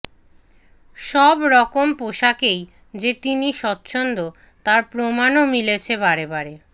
সব রকম পোশাকেই যে তিনি স্বচ্ছন্দ্য তার প্রমাণও মিলছে বারেবারে